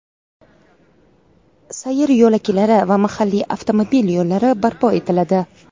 sayr yo‘laklari va mahalliy avtomobil yo‘llari barpo etiladi.